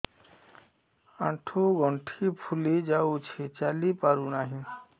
ଆଂଠୁ ଗଂଠି ଫୁଲି ଯାଉଛି ଚାଲି ପାରୁ ନାହିଁ